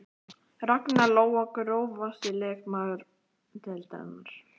Ragna Lóa Grófasti leikmaður deildarinnar?